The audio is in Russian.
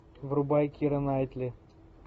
врубай кира найтли